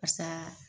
Pasa